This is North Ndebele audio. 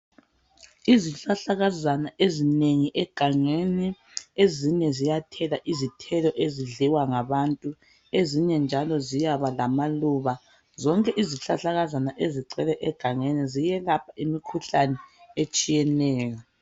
Izihlahlakazana ezinengi egangeni ezinye ziyathela izithelo ezidliwa ngabantu ezinye njalo ziyaba lamaluba zonke izihlahlakazana ezigcwele egangeni ziyelapha imkhuhlane etshiyeneyo.